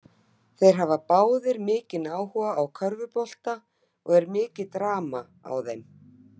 Þeir hafa báðir mikinn áhuga á körfubolta og er mikið drama á þeim.